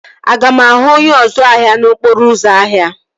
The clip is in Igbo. Aga m ahụ onye ọzu ahịa n'okporo ụzọ ahụ?